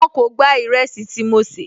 Wọn kò gba ìrẹsì tí mo sè